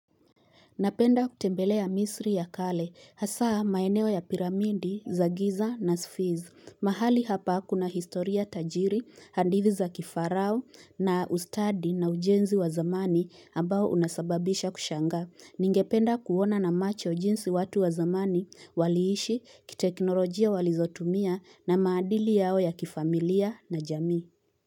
Napenda kutembelea misri ya kale. Hasaa maeneo ya piramidi, za giza na sfiz. Mahali hapa kuna historia tajiri, handiviza kifarao na ustadi na ujenzi wa zamani ambao unasababisha kushanga. Ningependa kuona na macho jinsi watu wa zamani, waliishi, kiteknolojia walizotumia na maadili yao ya kifamilia na jami.